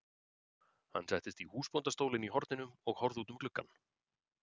Hann settist í húsbóndastólinn í horninu og horfði út um gluggann.